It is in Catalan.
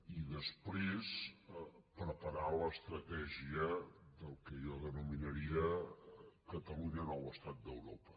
i després preparar l’estratègia del que jo denominaria catalunya nou estat d’europa